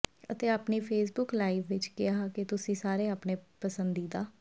ਅਤੇ ਆਪਣੀ Facebook live ਵਿਚ ਕਿਹਾ ਕਿ ਤੁਸੀਂ ਸਾਰੇ ਆਪਣੇ ਪਸੰਦੀਦਾ